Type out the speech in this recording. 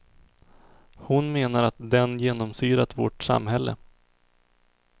Hon menar att den genomsyrat vårt samhälle.